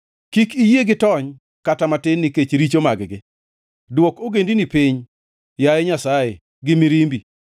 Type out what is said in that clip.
Kik iyie gitony kata matin nikech richo mag-gi, dwok ogendini piny, yaye Nyasaye, gi mirimbi;